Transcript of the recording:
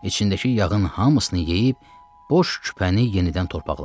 İçindəki yağın hamısını yeyib boş küpəni yenidən torpaqladı.